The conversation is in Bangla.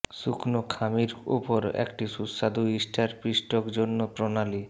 শুকনো খামির উপর একটি সুস্বাদু ইস্টার পিষ্টক জন্য প্রণালী